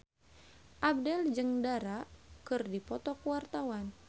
Abdel jeung Dara keur dipoto ku wartawan